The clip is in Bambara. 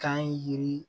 Kan yiri